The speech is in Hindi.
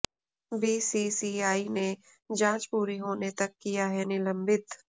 बीसीसीआई ने जांच पूरी होने तक किया है निलंबित